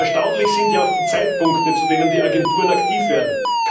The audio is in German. Erstaunlich sind ja auch die Zeitpunkte, zu denen die Agenturen aktiv werden.